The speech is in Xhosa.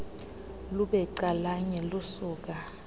lube calanye lusuka